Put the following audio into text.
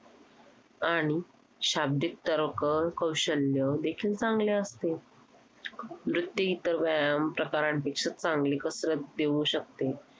आणि शाब्दिक तर्क कौशल्य देखील चांगले असते. नृत्य इतर व्यायाम प्रकारांपेक्षा चांगली कसरत देऊ शकते.